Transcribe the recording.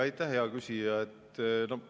Aitäh, hea küsija!